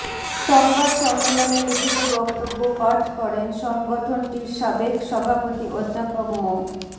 সংবাদ সম্মেলনে লিখিত বক্তব্য পাঠ করেন সংগঠনটির সাবেক সভাপতি অধ্যাপক মো